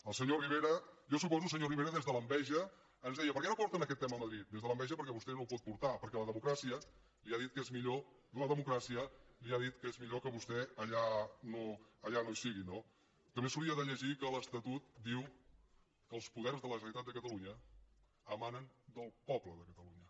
el senyor rivera jo suposo senyor rivera des de l’enveja ens deia per què no porten aquest tema a madrid des de l’enveja perquè vostè no ho pot portar perquè la democràcia li ha dit que és millor que vostè allà no hi sigui no també s’hauria de llegir que l’estatut diu que els poders de la generalitat de catalunya emanen del poble de catalunya